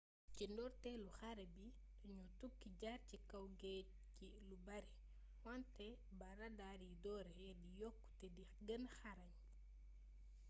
ci ndorteelu xare bi dañoo tukki jaar ci kaw géeej gi lu bare wante ba radar yi dooree di yokku te di gëna xarañ